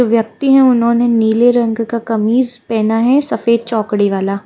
व्यक्ति हैं उन्होंने नीले रंग का कमीज पहना है सफेद चौकड़ी वाला--